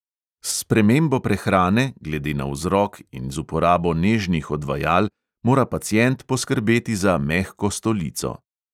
S spremembo prehrane, glede na vzrok, in z uporabo nežnih odvajal mora pacient poskrbeti za mehko stolico.